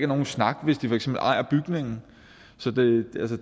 nogen snak hvis de for eksempel ejer bygningen